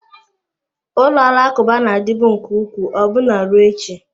Ụlọ alakụba na-adịbu nke ukwuu ọbụna ruo echi.